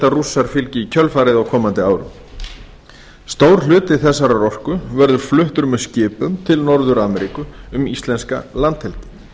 rússar fylgi í kjölfarið á komandi árum stór hluti þessarar orku verður fluttur með skipum til norður ameríku um íslenska landhelgi